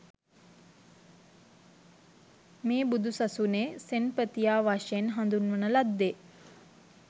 මේ බුදුසසුනේ සෙන්පතියා වශයෙන් හඳුන්වන ලද්දේ